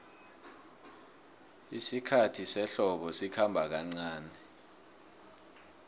isikhathi sehlobo sikhomba kancani